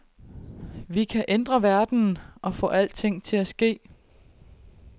Vi kan ændre verden og få alting til at ske.